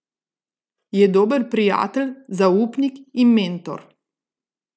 Je dober prijatelj, zaupnik in mentor.